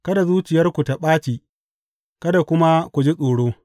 Kada zuciyarku ta ɓaci kada kuma ku ji tsoro.